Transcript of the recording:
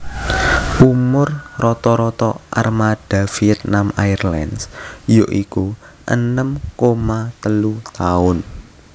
Umur rata rata armada Vietnam Airlines ya iku enem koma telu tahun